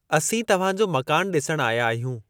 असीं तव्हांजो मकानु ॾिसण आया आहियूं।